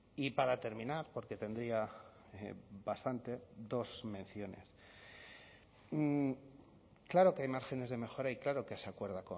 y para terminar porque tendría bastante dos menciones claro que hay márgenes de mejora y claro que se acuerda